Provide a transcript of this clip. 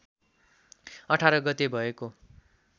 १८ गते भएको